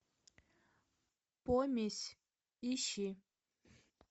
помесь ищи